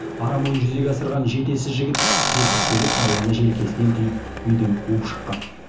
арам ойын жүзеге асырған жетесіз жігіт жетпістегі қарияны желкесінен түйіп үйден қуып шыққан